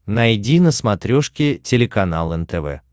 найди на смотрешке телеканал нтв